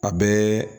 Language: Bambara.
A bɛɛ